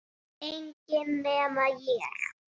Enginn nema ég